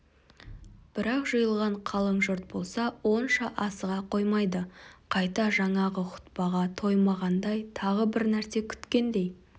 бірақ жиылған қалың жұрт болса онша асыға қоймайды қайта жаңағы хұтпаға тоймағандай тағы бір нәрсе күткендей